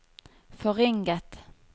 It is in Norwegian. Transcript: forringet